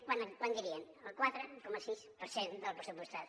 quant dirien el quatre coma sis per cent del pressupostat